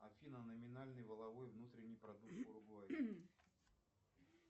афина номинальный валовой внутренний продукт в уругвае